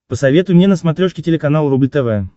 посоветуй мне на смотрешке телеканал рубль тв